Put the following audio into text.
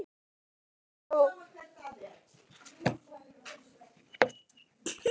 Á milli höfuðsins og hins hluta getnaðarlimsins er dálítil felling.